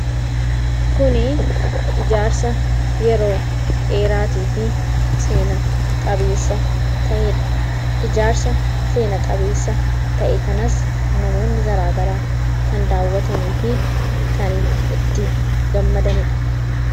Kun ijaarsa yeroo dheeraatii fi seena-qabeessa ta'eedha. Ijaarsa seena-qabeessa ta'e kanas namoonni garaa garaa kan daawwatanii fi kan itti gammadaniidha.